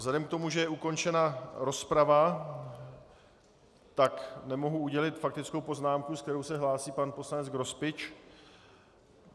Vzhledem k tomu, že je ukončena rozprava, tak nemohu udělit faktickou poznámku, s kterou se hlásí pan poslanec Grospič.